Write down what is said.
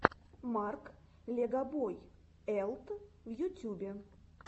марк легобой элт в ютубе